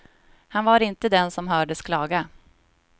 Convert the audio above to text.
Han var inte den som hördes klaga.